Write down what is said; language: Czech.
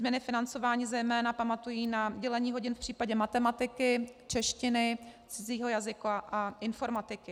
změny financování zejména pamatují na dělení hodin v případě matematiky, češtiny, cizího jazyka a informatiky.